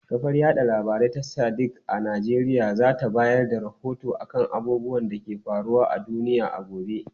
Kafar yada labarai ta Sadiq a Najeriya za ta bayar da rahoto kan abubuwan da ke faruwa a duniya a gobe.